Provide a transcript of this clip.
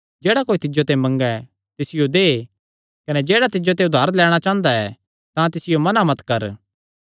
जेह्ड़ा कोई तिज्जो ते मंगे तिसियो दे कने जेह्ड़ा तिज्जो ते उधार लैणां चांह़दा तिसते मुँऐ मत फेर